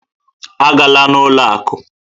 A gala n'ụlọ akụ!